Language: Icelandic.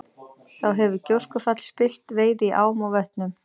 Þá hefur gjóskufall spillt veiði í ám og vötnum.